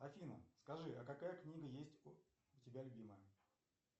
афина скажи а какая книга есть у тебя любимая